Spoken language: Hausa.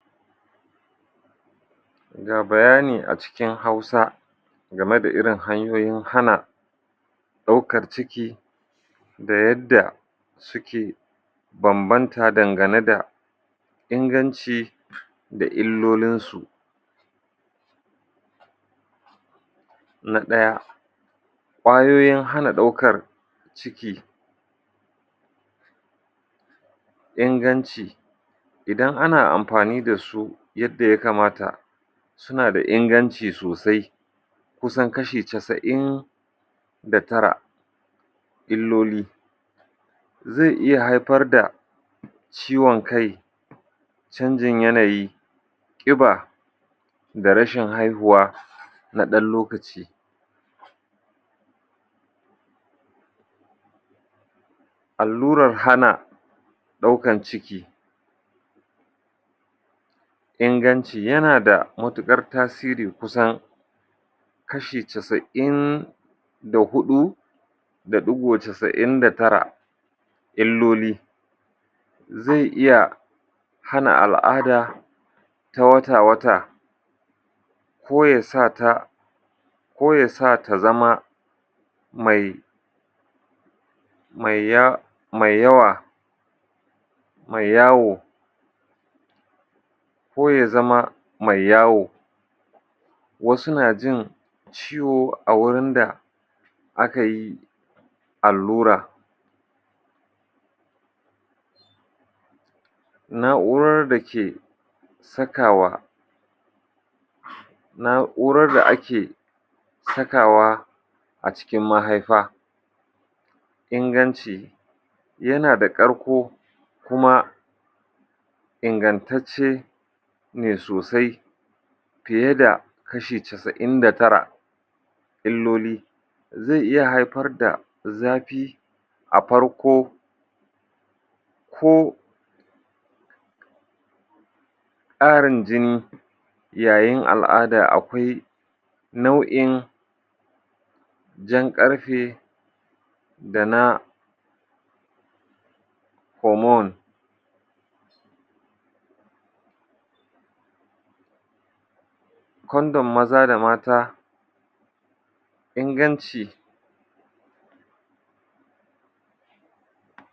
Ga bayani a cikin Hausa game da irin hanyoyin hana ɗaukar ciki da yadda suka bambanta dangane da inganci da illolinsu Na ɗaya, ƙwayoyin hana ɗaukar ciki Inganci: Idan ana amfani da su yadda ya kamata suna da inganci sosai, kusan kashi casa'in da tara Illoli: Zai iya haifar da ciwon kai, canjin yanayi, ƙiba da rashin haihuwa na ɗan lokaci. Allura hana ɗaukan ciki Inganci: Yana da matuƙar tasiri kusan kashi casa'in da huɗu da ɗigo casa'in da tara. Illoli: Zai iya hana al'ada ta wata-wata ko ya sa ta ko ya sa ta zama mai, mai ya, mai yawa, mai yawo ko ya zama mai yawo. Wasu na jin ciwo a wurin da aka yi allura Na'urar da ke sakawa, na'urar da ake sakawa a cikin mahaifa Inganci: Yana da ƙarko kuma ingantacce ne sosai fiye da kashi casa'in da tara Illoli: Zai iya haifar da zafi a farko ko ƙarin jini yayin al'ada. Akwai nau'in jan ƙarfe da na homon Kondom maza da mata. Inganci: